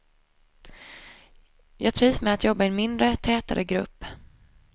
Jag trivs med att jobba i en mindre, tätare grupp.